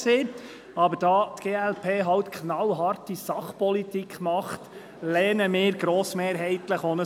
Da die glp aber halt knallharte Sachpolitik macht, lehnen wir auch ein Postulat grossmehrheitlich ab.